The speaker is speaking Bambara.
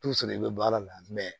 i bɛ bɔ ala la